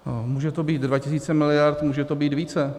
Může to být 2 tisíce miliard, může to být více.